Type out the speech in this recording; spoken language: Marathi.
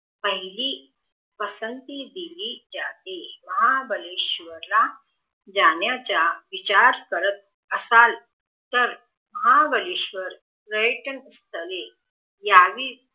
पहिली पसंती दिली जाते महाबळेश्वर ला जाण्याचा विचार करत. असाल महाबळेश्वर पर्यटन स्थळे यांनी